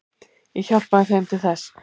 Ég hjálpaði þeim til þess.